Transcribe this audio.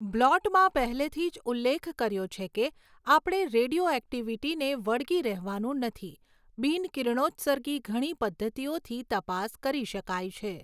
બ્લોટમાં પહેલેથી જ ઉલ્લેખ કર્યો છે કે આપણે રેડિયોઍક્ટિવિટીને વળગી રહેવાનું નથી બિન કિરણોત્સર્ગી ઘણી પદ્ધતિઓથી તપાસ કરી શકાય છે.